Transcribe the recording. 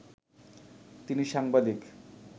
তিনি সাংবাদিক